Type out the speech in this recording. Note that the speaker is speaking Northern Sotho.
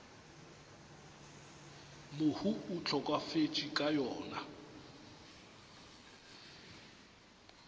mohu a hlokafetšego ka yona